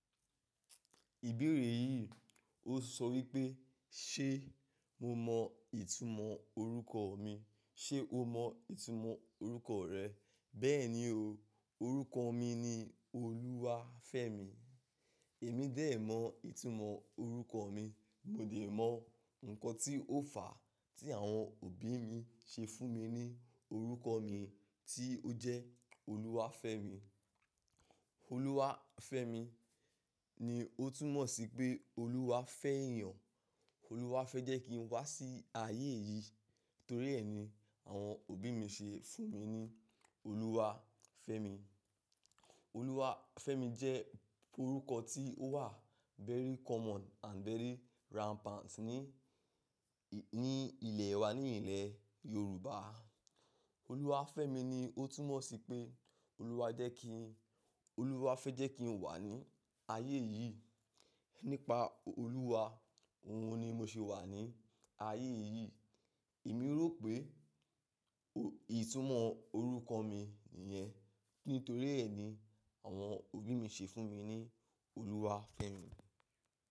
Ìbéèrè yìí ó sọ wípé ṣe mo mọ ìtumọ̀ orúkọ mi? Ṣé o mọ ìtumọ̀ orúkọ rẹ? Bẹ́ẹ̀ni o, orúkọ mi ni Oluwafemi. Èmi dé mọ ìtumọ̀ orúkọ mi, mo dé mọ ǹkan tí ó fàá tí àwọn òbí mi ṣe fún mi ní orúkọ mi tí ó jẹ́ Oluwafemi. Oluwafemi ni ó túmọ̀ sí pé Olúwa fẹ́ èèyàn, Olúwa fẹ́ jẹ́ kí n wá sí ayé yìí torí ẹ ni àwọn òbí mi ṣe fún mi ní Oluwafemi. Oluwafemi jẹ́ orúkọ tí ó wà very common and very rampant ní, ní ilẹ̀ wa, ní ilẹ̀ Yorùbá. Oluwafemi ni ó túmọ̀ sí pé Olúwa jẹ́ kí, Olúwa fẹ́ jẹ́ kí n wà ní ayé yìí. Nípa Olúwa, òun ni mo ṣe wà ní ayé yìí. Èmi rò pé, ìtumọ̀ orúkọ mi nìyẹn nítorí ẹ ni àwọn òbí mi ṣe fún mi ní Oluwafemi.